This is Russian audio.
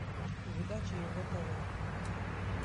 передача егэ тв